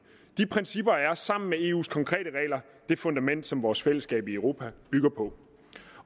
de principper er sammen med eus konkrete regler det fundament som vores fællesskab i europa bygger på